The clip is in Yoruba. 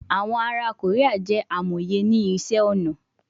Awọn ara Korea jẹ amoye ni iṣẹ-ọnà